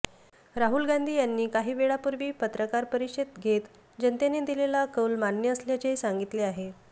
राहुल गांधी यांन काही वेळापूर्वी पत्रकार परिषद घेत जनतेने दिलेला कौल मान्य असल्याचे सांगितले आहे